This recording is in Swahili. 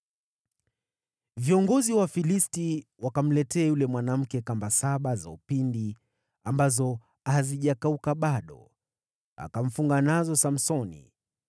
Viongozi wa Wafilisti wakamletea yule mwanamke kamba saba za upinde ambazo hazijakauka bado, akamfunga nazo Samsoni.